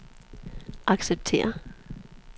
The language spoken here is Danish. acceptere